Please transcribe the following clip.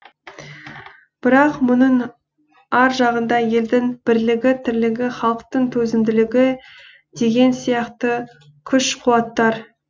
бірақ мұның ар жағында елдің бірлігі тірлігі халықтың төзімділігі деген сияқты күш қуаттар